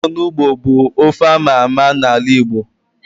Ofe onugbu bu ofe ámá ámá na ala Igbo